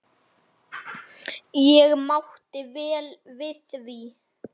Ég mátti vel við því.